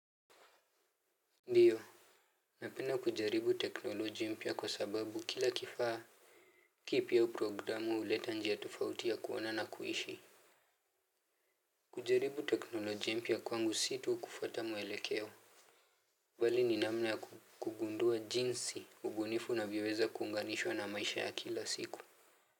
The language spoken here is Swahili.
Ndiyo. Napenda kujaribu teknolojia mpya kwa sababu kila kifaa kipya au programu huleta njia tofauti ya kuona na kuishi. Kujaribu teknoloji mpya kwangu si tu kufuata mwelekeo bali ni namna ya kugundua jinsi ubunifu navyoweza kuunganishwa na maisha ya kila siku.